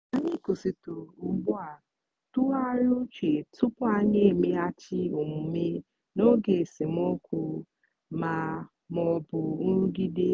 anyị kwụsịtụrụ ugbu a tụgharịa uche tupu anyị emeghachi omume n'oge esemokwu ma ọ bụ nrụgide.